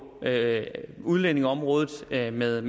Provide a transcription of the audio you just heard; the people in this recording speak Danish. udlændingeområdet med med